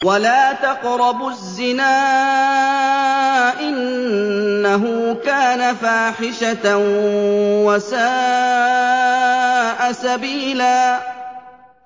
وَلَا تَقْرَبُوا الزِّنَا ۖ إِنَّهُ كَانَ فَاحِشَةً وَسَاءَ سَبِيلًا